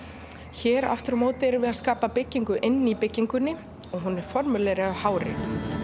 hér aftur á móti erum við að skapa byggingu inni í byggingunni og hún er af hári